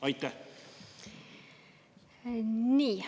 Nii.